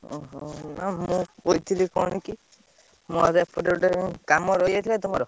ଓହୋ ମୁଁ କହିଥିଲି କଣ କି ମୋର କାମ ରହିଯାଇଥିଲା ତ।